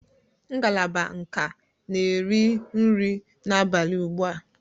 Ngalaba nka na-eri nri abalị ugbu a.